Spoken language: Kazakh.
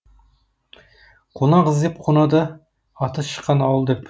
қонақ іздеп қонады аты шыққан ауыл деп